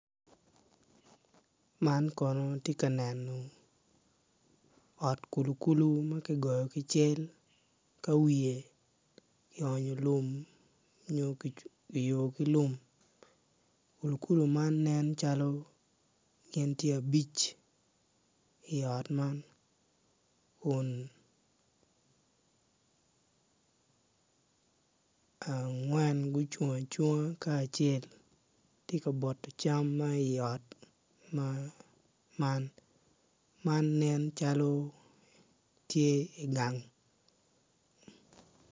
Man kono atye ka neno ot kulukulu ma kigoyo ki cel ma wiye tye lum kulukulu man nen gitye abic, angwen gucung acunga acel tye ka boto dek man kono nen calo tye i gang.